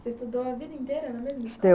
Você estudou a vida inteira na mesma escola?